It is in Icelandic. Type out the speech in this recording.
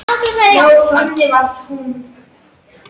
En það breytir engu.